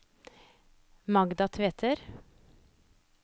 Magda Tveter